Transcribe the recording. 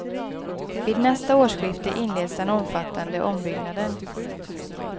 Vid nästa årsskifte inleds den omfattande ombyggnaden.